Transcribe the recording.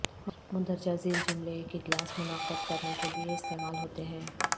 مندرجہ ذیل جملے ایک اجلاس منعقد کرنے کے لئے استعمال ہوتے ہیں